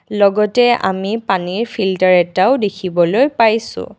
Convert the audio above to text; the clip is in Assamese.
লগতে আমি পানীৰ ফিলটাৰ এটাও দেখিবলৈ পাইছোঁ।